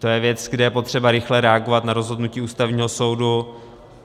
To je věc, kde je potřeba rychle reagovat na rozhodnutí Ústavního soudu.